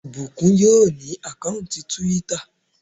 Ìbùkún yóò ní àkáùntì túwítà